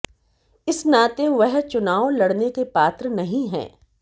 इस नाते वह चुनाव लड़ने के पात्र नहीं हैं